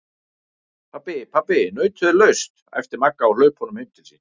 Pabbi, pabbi nautið er laust! æpti Magga á hlaupunum heim til sín.